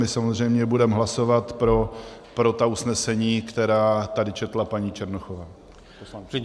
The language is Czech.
My samozřejmě budeme hlasovat pro ta usnesení, která tady četla paní Černochová.